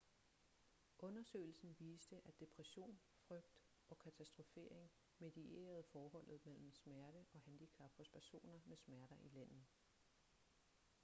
undersøgelsen viste at depression frygt og katastrofering medierede forholdet mellem smerte og handicap hos personer med smerter i lænden